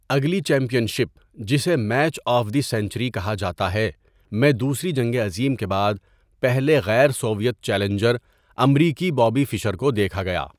اگلی championship, جسے match of the century کہا جاتا ہے، میں دوسری جنگ عظیم کے بعد پہلے غیر سوویت چیلنجر امریکی بوبی فشر کو دیکھا گیا۔